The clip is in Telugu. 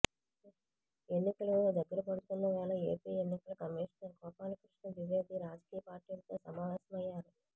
ఎన్నికలు దగ్గరపడుతున్న వేళ ఏపీ ఎన్నికల కమీషనర్ గోపాలకృష్ణ ద్వివేది రాజకీయ పార్టీలతో సమావేశమయ్యారు